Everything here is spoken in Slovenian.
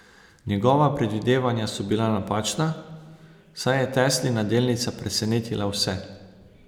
Njihova predvidevanja so bila napačna, saj je Teslina delnica presenetila vse.